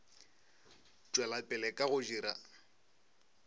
tšwela pele ka go dira